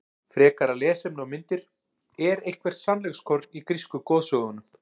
Frekara lesefni og myndir Er eitthvert sannleikskorn í grísku goðsögunum?